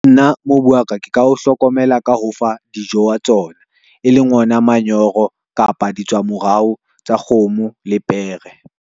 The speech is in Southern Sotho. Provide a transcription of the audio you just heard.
Nna mobu wa ka, ke ka o hlokomela ka ho fa dijo wa tsona e leng ona manyoro, kapa di tswa morao tsa kgomo le pere.